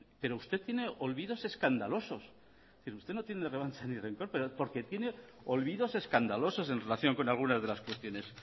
pero usted tiene olvidos escandalosos usted no tiene la revancha ni rencor porque tiene olvidos escandalosos en relación con algunas de las cuestiones